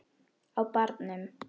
Á barnum!